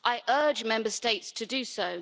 I urge Member States to do so.